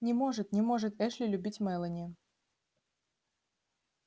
не может не может эшли любить мелани